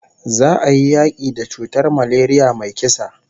Za'a yi yaki da cutar malaria mai kisa